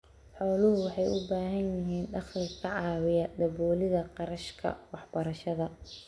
Xooluhu waxay bixiyaan dakhli ka caawiya daboolida kharashka waxbarashada.